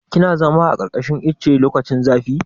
Kina zama a ƙarƙashin ice lokacin zafi?